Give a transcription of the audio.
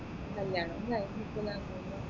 കല്യാണും കഴിഞ്ഞ് ഇപ്പൊ ദാ മൂന്ന് മക്കളായി